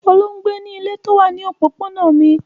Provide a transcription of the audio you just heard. Olú ń gbé nílé tó wà ní òpópónà mi.